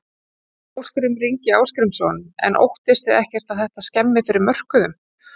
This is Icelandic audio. Ásgrímur Ingi Arngrímsson: En óttist þið ekkert að þetta skemmi fyrir mörkuðum?